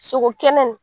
Sogo kɛnɛ